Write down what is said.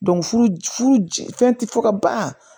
furu ci fɛn ti fɔ ka ban